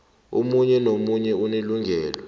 omunye nomunye unelungelo